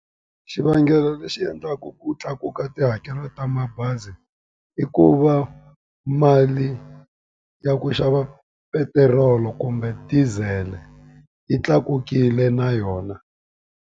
Xivangelo lexi endlaku ku tlakuka tihakelo ta mabazi i ku va mali ya ku xava petirolo kumbe diesel-e yi tlakukile na yona.